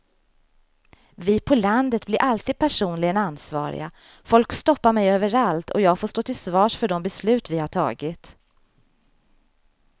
Vi på landet blir alltid personligen ansvariga, folk stoppar mig överallt och jag får stå till svars för de beslut vi har tagit.